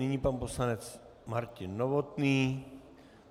Nyní pan poslanec Martin Novotný.